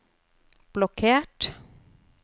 blokkert